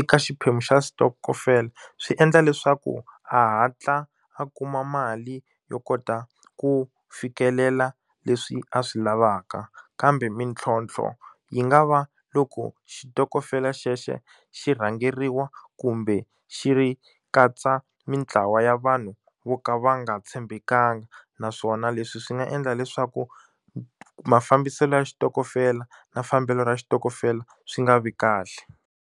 eka xiphemu xa xitokofela swi endla leswaku a hatla a kuma mali yo kota ku fikelela leswi a swi lavaka kambe mintlhontlho yi nga va loko xitokofela xexo xi rhangeriwa kumbe xi ri katsa mitlawa ya vanhu vo ka va nga tshembekanga naswona leswi swi nga endla leswaku mafambiselo ya xitokofela na fambelo ra xitokofela swi nga vi kahle.